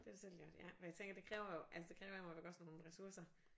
Det har du selv gjort ja fordi jeg tænker det kræver jo altså det kræver jo godt nok nogle ressourcer